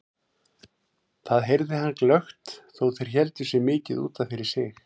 Það heyrði hann glöggt þó þeir héldu sig mikið út af fyrir sig.